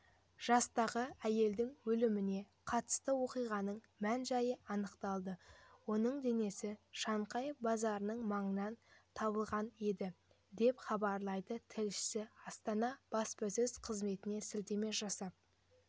жастағы әйелдің өліміне қатысты оқиғаның мән-жайы анықталды оның денесі шанхай базарының маңынан табылғанеді деп хабарлайды тілшісі астана баспасөз қызметіне сілтеме жасап